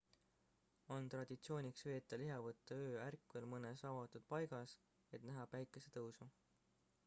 on traditsiooniks veeta lihavõtteöö ärkvel mõnes avatud paigas et näha päikesetõusu